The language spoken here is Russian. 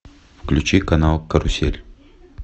включи канал карусель